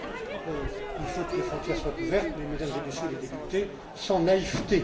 Oui, il faut que les frontières soient ouvertes mais, Mesdames et Messieurs les députés, sans